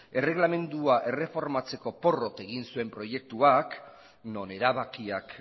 erregelamendua erreformatzeko porrot egin zuen proiektuak non erabakiak